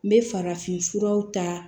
N bɛ farafin furaw ta